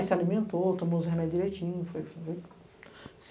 se alimentou, tomou os remédios direitinho, foi